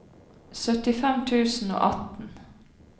syttifem tusen og atten